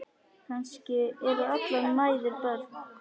Kannski eru allar mæður börn.